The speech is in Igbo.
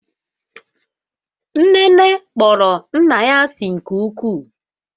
nnene kpọrọ nna ya asị nke ukwuu